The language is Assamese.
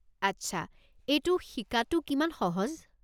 আচ্ছা, এইটো শিকাটো কিমান সহজ?